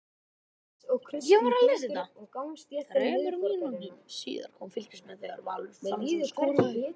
Þremur mínútum síðar komust Fylkismenn yfir þegar Valur Fannar Gíslason skoraði.